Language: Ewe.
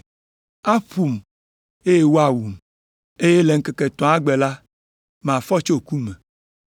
aƒom, eye woawum. Eye le ŋkeke etɔ̃a gbe la, mafɔ tso ku me.”